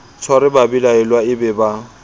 tshware babelaelwa e be ba